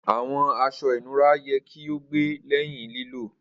Awọn aṣọ inura yẹ ki o gbẹ lẹhin lilo.